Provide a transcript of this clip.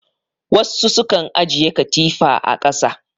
Wassu sukan ajiye katifa a ƙasa